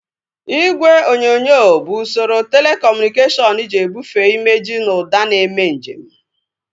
Igwe onyonyo bụ usoro telekọmunikashọnu ji ebufee imejị na ụda na-eme nje m